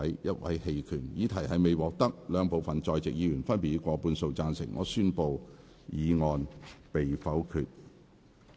由於議題未獲得兩部分在席議員分別以過半數贊成，他於是宣布議案被否決。